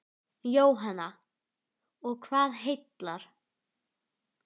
Jóhanna: Og hvað heillar?